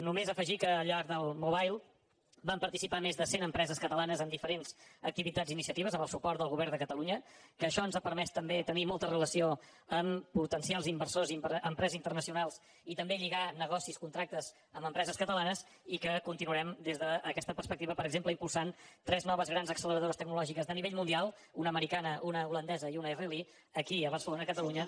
només afegir que al llarg del mobile van participar més de cent empreses catalanes amb diferents activitats i iniciatives amb el suport del govern de catalunya que això ens ha permès també tenir molta relació amb potencials inversors i empreses internacionals i també lligar negocis contractes amb empreses catalanes i que continuarem des d’aquesta perspectiva per exemple impulsant tres noves grans acceleradores tecnològiques de nivell mundial una americana una holandesa i una israeliana aquí a barcelona a catalunya